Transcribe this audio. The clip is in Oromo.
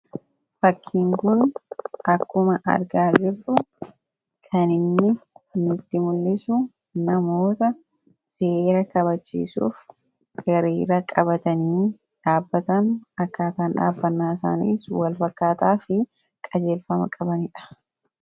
fakkiinguun akkuma argaa jirruu kaninni nitti mul'isu namoota seera qabachiisuuf eriera qabatanii dhaabbatan akkaataan dhaabbanaa isaaniis walfakkaataa fi qajeelfama qabaniidha